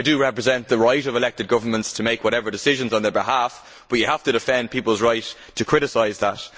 I do accept the right of elected governments to make whatever decisions on their behalf but we have to defend people's right to criticise that.